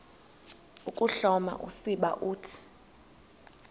ukuhloma usiba uthi